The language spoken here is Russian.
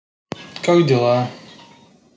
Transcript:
как дела